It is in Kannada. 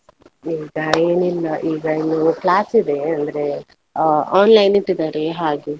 ಈಗ ಏನಿಲ್ಲ ಈಗ ಇನ್ನು class ಇದೆ ಅಂದ್ರೆ, online ಇಟ್ಟಿದಾರೆ ಹಾಗೆ.